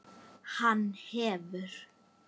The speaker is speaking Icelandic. Hann hefur.